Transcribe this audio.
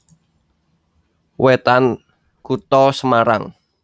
Wetan Kutha Semarang